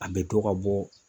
An me dɔ ka bɔ